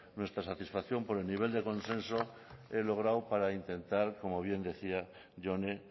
nuestra satisfacción por el de nivel de consenso logrado para intentar como bien decía jone